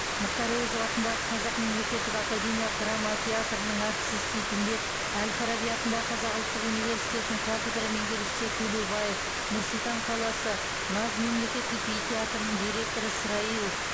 мұхтар әуезов атындағы қазақ мемлекеттік академиялық драма театрының әртісі сейтімбет әл фараби атындағы қазақ ұлттық университетінің кафедра меңгерушісі төлеубаев нұр сұлтан қаласы наз мемлекеттік би театрының директоры сраилов